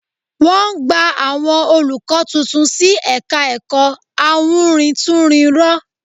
Wọ́n gba àwọn olùkọ́ tuntun sí ẹ̀ka ẹ̀kọ́ awúrintúnrinrọ